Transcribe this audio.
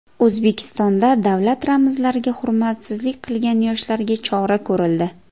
O‘zbekistonda davlat ramzlariga hurmatsizlik qilgan yoshlarga chora ko‘rildi.